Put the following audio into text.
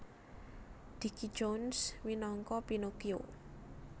Dickie Jones minangka Pinokio